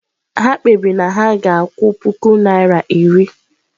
Ha kpebiri na ha ga-akwụ puku naira iri.